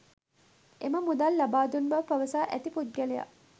එම මුදල් ලබා දුන් බව පවසා ඇති පුද්ගලයා